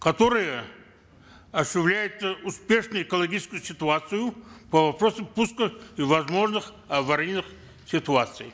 которые осуществляются успешной экологической ситуацией по вопросам пуска и возможных аварийных ситуаций